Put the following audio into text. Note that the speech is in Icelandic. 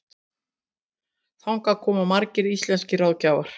Þangað komu margir íslenskir ráðgjafar.